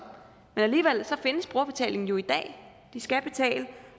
men alligevel findes brugerbetalingen i dag de skal betale